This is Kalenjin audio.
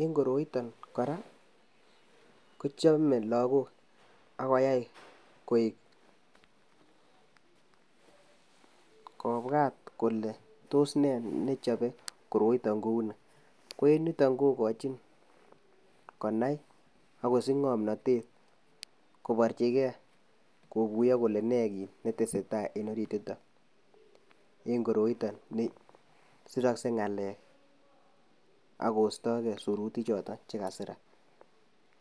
eng koroiton kora kochame lagook ak koyai kobwat kole tos nee nechobee koroton kounii ko eng yuton kokojin konai ak kosij ngomnotet kobarjikee kokuyoo kole nee nee netesetai eng koroiton siroksee ngalek ak kostoo Kee sirutijoton chekasirak